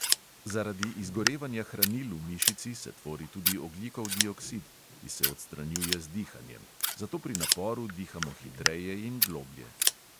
Zaradi izgorevanja hranil v mišici se tvori tudi ogljikov dioksid, ki se odstranjuje z dihanjem; zato pri naporu dihamo hitreje in globlje.